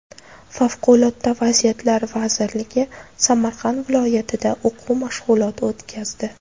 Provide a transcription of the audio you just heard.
Favqulodda vaziyatlar vazirligi Samarqand viloyatida o‘quv mashg‘uloti o‘tkazdi.